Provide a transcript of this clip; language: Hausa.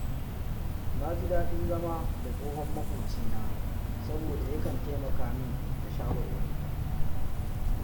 Na ji daɗin zama da tsohon maƙocina, saboda yakan taimaka min da shawarwari